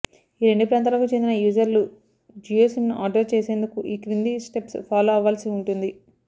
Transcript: ఈ రెండు ప్రాంతాలకు చెందిన యూజర్లు జియో సిమ్ను ఆర్డర్ చేసేందుకు ఈ క్రింది స్టెప్స్ ఫాలో అవ్వాల్సి ఉంటుంది